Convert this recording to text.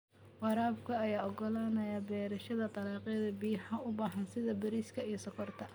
Waraabka ayaa ogolaanaya beerashada dalagyada biyaha u baahan sida bariiska iyo sonkorta.